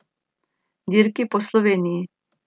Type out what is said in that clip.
Dirki po Sloveniji.